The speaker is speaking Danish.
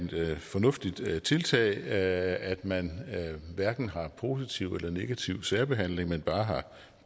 fornuftigt tiltag altså at man hverken har positiv eller negativ særbehandling men bare har